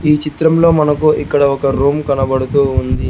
ఈ చిత్రంలో మనకు ఇక్కడ ఒక రూమ్ కనబడుతూ ఉంది.